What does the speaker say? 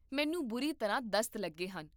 ਮੈਨੂੰ ਬੁਰੀ ਤਰ੍ਹਾਂ ਦਸਤ ਲੱਗੇ ਹਨ